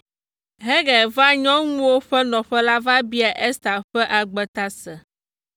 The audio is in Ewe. Hegai vaa nyɔnuwo ƒe nɔƒe la va biaa Ester ƒe agbe ta se.